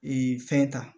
Ee fɛn ta